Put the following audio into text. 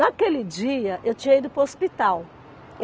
Naquele dia, eu tinha ido para o hospital.